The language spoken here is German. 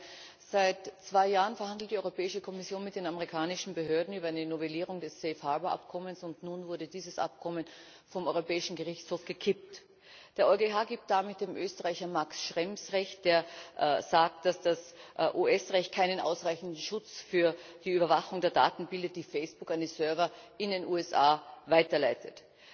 Frau Präsidentin, Frau Kommissarin! Seit zwei Jahren verhandelt die Europäische Kommission mit den amerikanischen Behörden über eine Novellierung des Abkommens, und nun wurde dieses Abkommen vom Europäischen Gerichtshof gekippt. Der EuGH gibt damit dem Österreicher Max Schrems recht, der sagt, dass das US Recht keinen ausreichenden Schutz für die Überwachung der Daten bietet, die Facebook an die Server in den USA weiterleitet.